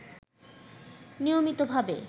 নিয়মিতভাবে